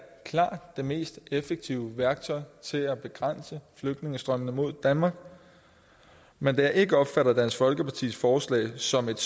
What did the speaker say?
klart det mest effektive værktøj til at begrænse flygtningestrømmene mod danmark men da jeg ikke opfatter dansk folkepartis forslag som et